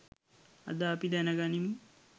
අද අපි දැන ගනිමු